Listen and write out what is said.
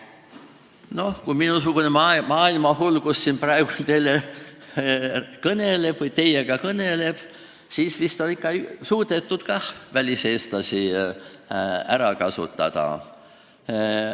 No kui minusugune maailmahull siin praegu teiega kõneleb, siis vist on ikka suudetud väliseestlasi ära kasutada.